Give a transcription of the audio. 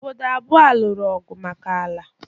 Obodo abụọ a lụrụ ọgụ maka ala.